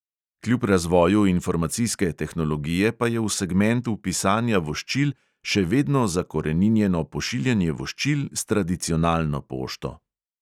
Kljub razvoju informacijske tehnologije pa je v segmentu pisanja voščil še vedno zakoreninjeno pošiljanje voščil s tradicionalno pošto.